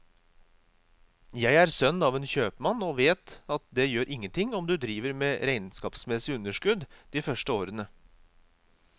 Jeg er sønn av en kjøpmann og vet at det gjør ingenting om du driver med regnskapsmessig underskudd de første årene.